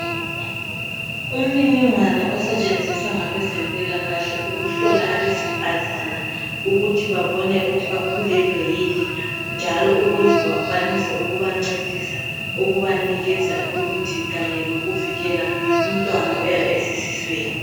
Umniningwana osetshenziswa ngabezempilakahle, ukuhlola abesifazana ukuthi babone ukuthi bakhulelwe yini., njalo ukuze bakwanise ukubancedisa. Ukubanikeza imithi. Kanye lokuvikela, umntwana oyabe esesiswini.